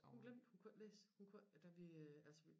Hun glemte hun kunne ikke læse hun kunne da vi altså